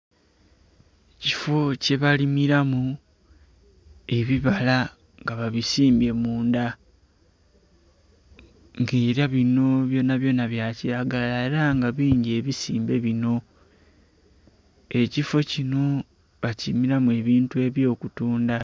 Ekifo kye balimiramu ebibala nga babisimbye mundha, nga era bino byonabyona bya kiragala. Era nga bingi ebisimbe bino. Ekifo kino bakilimiramu ebintu eby'okutundha.